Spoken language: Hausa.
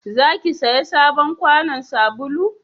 za ki saya sabon kwanon sabulu?